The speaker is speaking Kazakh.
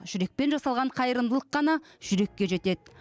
жүрекпен жасалған қайырымдылық қана жүрекке жетеді